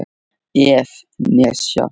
ef. nesja